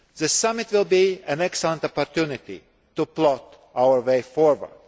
The summit will be an excellent opportunity to plot our way forward.